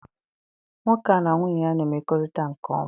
Nwoke a na nwunye ya na-emekorita nke oma.